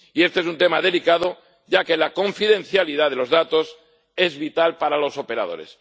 Y este es un tema delicado, ya que la confidencialidad de los datos es vital para los operadores.